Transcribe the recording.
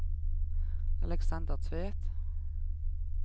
Aleksander Tvedt